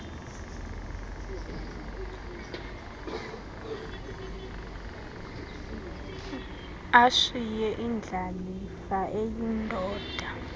ashiye indlalifa eyindoda